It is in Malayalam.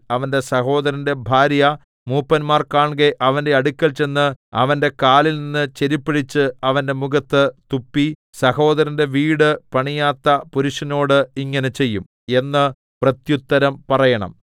അവന്റെ സഹോദരന്റെ ഭാര്യ മൂപ്പന്മാർ കാൺകെ അവന്റെ അടുക്കൽ ചെന്ന് അവന്റെ കാലിൽനിന്ന് ചെരിപ്പഴിച്ച് അവന്റെ മുഖത്തു തുപ്പി സഹോദരന്റെ വീടു പണിയാത്ത പുരുഷനോട് ഇങ്ങനെ ചെയ്യും എന്ന് പ്രത്യുത്തരം പറയണം